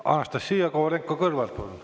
Anastassia Kovalenko-Kõlvart, palun!